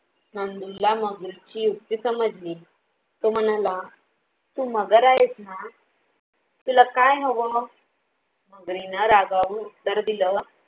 नंदूला मगरीचे युक्त्ती समजली तो म्हणाला तु मगर आहेस ना? तुला काय हवं? मगरीने रागावून उत्तर दिलं